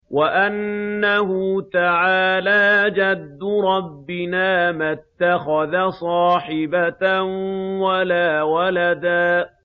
وَأَنَّهُ تَعَالَىٰ جَدُّ رَبِّنَا مَا اتَّخَذَ صَاحِبَةً وَلَا وَلَدًا